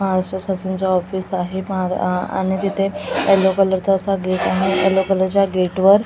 महाराष्ट्र शासनाचं ऑफिस आहे म अ आणि तिथे एलो कलरचा चा असा गेट आहे एलो कलरच्या गेटवर --